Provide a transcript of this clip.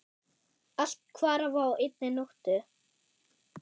Allt hvarf á einni nóttu.